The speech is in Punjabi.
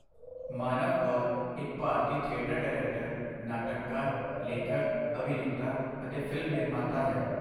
ਮਾਨਵ ਕੌਲ ਇੱਕ ਭਾਰਤੀ ਥਿਏਟਰ ਡਾਇਰੈਕਟਰ, ਨਾਟਕਕਾਰ, ਲੇਖਕ, ਅਭਿਨੇਤਾ ਅਤੇ ਫ਼ਿਲਮ ਨਿਰਮਾਤਾ ਹੈ।